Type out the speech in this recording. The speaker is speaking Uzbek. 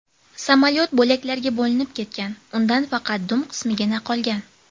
Samolyot bo‘laklarga bo‘linib ketgan, undan faqat dum qismigina qolgan.